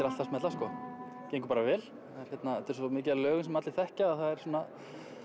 allt að smella sko gengur bara vel þetta er svo mikið af lögum sem allir þekkja að það er svona